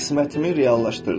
Qismətimi reallaşdırdım.